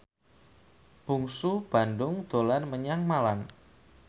Bungsu Bandung dolan menyang Malang